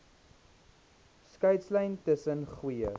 skeidslyn tussen goeie